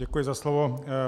Děkuji za slovo.